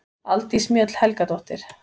Aldís Mjöll Helgadóttir